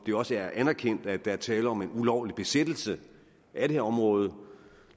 det også er anerkendt at der er tale om en ulovlig besættelse af det område